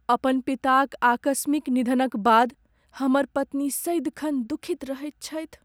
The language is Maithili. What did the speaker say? अपन पिताक आकस्मिक निधनक बाद हमर पत्नी सदिखन दुखित रहैत छथि।